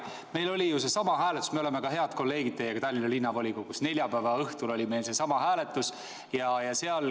Me oleme teiega head kolleegid ka Tallinna Linnavolikogus ja meil oli seal neljapäeva õhtul seesama hääletus.